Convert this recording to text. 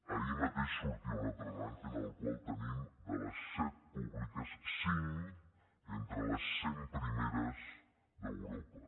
ahir mateix sortia un altre rànquing en el qual tenim de les set públiques cinc entre les cent primeres d’europa